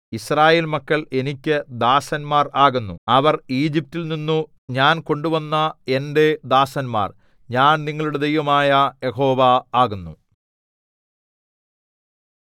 യിസ്രായേൽ മക്കൾ എനിക്ക് ദാസന്മാർ ആകുന്നു അവർ ഈജിപ്റ്റിൽനിന്നു ഞാൻ കൊണ്ടുവന്ന എന്റെ ദാസന്മാർ ഞാൻ നിങ്ങളുടെ ദൈവമായ യഹോവ ആകുന്നു